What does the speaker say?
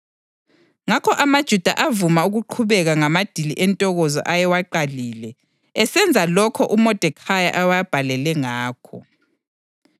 Ngakho amaJuda avuma ukuqhubeka ngamadili entokozo ayewaqalile, esenza lokho uModekhayi ayewabhalele ngakho.